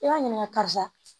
I b'a ɲininka karisa